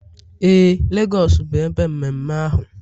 Ee, Lagos bụ ebe mmemme ahụ